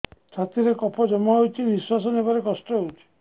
ଛାତିରେ କଫ ଜମା ହୋଇଛି ନିଶ୍ୱାସ ନେବାରେ କଷ୍ଟ ହେଉଛି